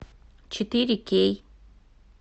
четыре кей